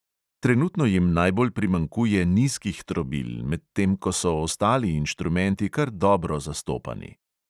Trenutno jim najbolj primanjkuje nizkih trobil, medtem ko so ostali inštrumenti kar dobro zastopani.